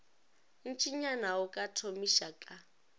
ntšinyana go ka thomiša ka